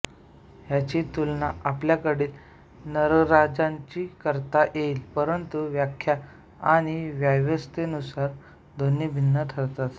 ह्याची तुलना आपल्याकडील नगरराज्यांची करता येईल परंतु व्याख्या आणि व्यवस्थेनुसार दोन्ही भिन्न ठरतात